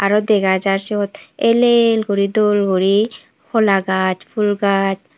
aro dega jar siyot el el guri dol guri hola gaj pul gaj.